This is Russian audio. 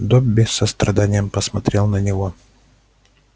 добби с состраданием посмотрел на него